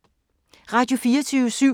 Radio24syv